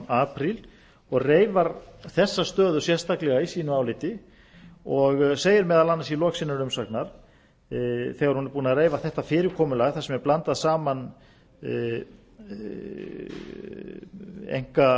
apríl og reifar þessa stöðu sérstaklega í sínu áliti og segir meðal annars í lok sinnar umsagnar þegar hún er búin að reifa þetta fyrirkomulag þar sem er